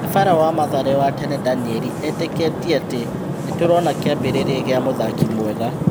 Nyabara wa Mathare wa tene Danieri etĩ kĩ tie atĩ : nĩ tũrona kĩ ambĩ rĩ ria gĩ a mũthaki mwega.